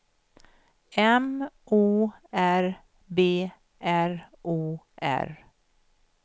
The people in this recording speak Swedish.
M O R B R O R